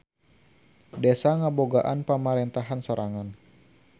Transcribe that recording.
Desa ngabogaan pamarentahan sorangan.